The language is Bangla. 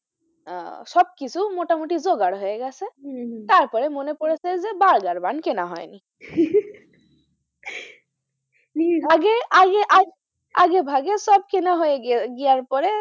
আহ সবকিছু মোটামুটি জোগাড় হয়েগেছে গেছে হম হম তারপরে মনে পড়েছে যে বার্গার bun কেনা হয় নি আগে, আগে, আগে আগে ভাগে সব কেনা হয়ে গিয়ার পরে,